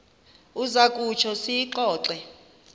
uza kutsho siyixoxe